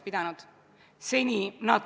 Lugupeetud istungi juhataja!